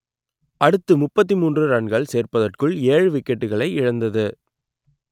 அடுத்து முப்பத்தி மூன்று ரன்கள் சேர்ப்பதற்குள் ஏழு விக்கெட்டுகளை இழந்தது